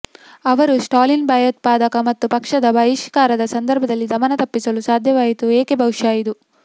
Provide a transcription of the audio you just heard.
ಅವರು ಸ್ಟಾಲಿನ್ ಭಯೋತ್ಪಾದಕ ಮತ್ತು ಪಕ್ಷದ ಬಹಿಷ್ಕಾರದ ಸಂದರ್ಭದಲ್ಲಿ ದಮನ ತಪ್ಪಿಸಲು ಸಾಧ್ಯವಾಯಿತು ಏಕೆ ಬಹುಶಃ ಇದು